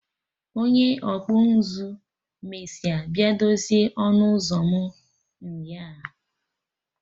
Onye ọkpụ nzụ mesịa bịa dozie ọnụ ụzọ m nyaa